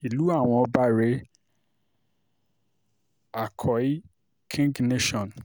ìlú àwọn ọba rèé àkọ́í king nation